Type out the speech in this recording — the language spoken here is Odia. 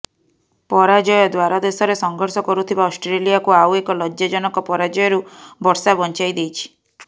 ପରାଜୟ ଦ୍ୱାରଦେଶରେ ସଂଘର୍ଷ କରୁଥିବା ଅଷ୍ଟ୍ରେଲିଆକୁ ଆଉ ଏକ ଲଜ୍ଜାଜନକ ପରାଜୟରୁ ବର୍ଷା ବଞ୍ଚାଇ ଦେଇଛି